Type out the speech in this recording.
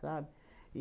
sabe?